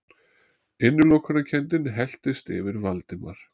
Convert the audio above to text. Innilokunarkenndin helltist yfir Valdimar.